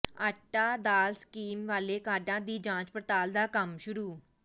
ਆਟਾ ਦਾਲ ਸਕੀਮ ਵਾਲੇ ਕਾਰਡਾਂ ਦੀ ਜਾਂਚ ਪੜਤਾਲ ਦਾ ਕੰਮ ਸ਼ੁਰੂ